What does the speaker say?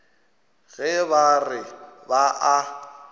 ge ba re ba a